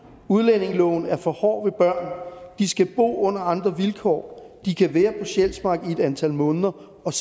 udlændingeloven er for hård ved børn de skal bo under andre vilkår de kan være på sjælsmark i et antal måneder og